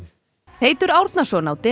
Teitur Árnason á